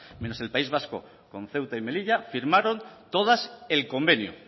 menos el país vasco junto ceuta y melilla firmaron todas el convenio